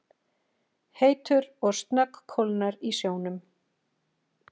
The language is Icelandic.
heitur og snöggkólnar í sjónum.